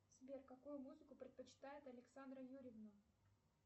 сбер какую музыку предпочитает александра юрьевна